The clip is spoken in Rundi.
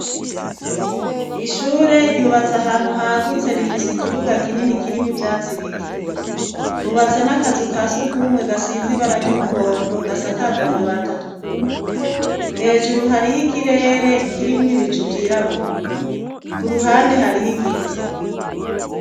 Ishure ryubatse ahantu hagutse rifise ikibuga kinini kirimwe ivyatsi bike. Hubatse n'akazu ka surwumwe gasize ibara ry'umuhondo, gasakajwe amabati atukura. Hejuru hariho ikirere kirimwo ibicu vyirabura. Ku ruhande hariho igiti.